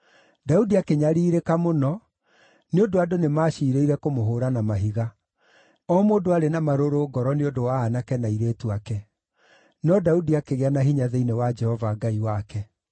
Daudi akĩnyariirĩka mũno nĩ ũndũ andũ nĩmaciirĩire kũmũhũũra na mahiga; o mũndũ arĩ na marũrũ ngoro nĩ ũndũ wa aanake na airĩtu ake. No Daudi akĩgĩa na hinya thĩinĩ wa Jehova Ngai wake.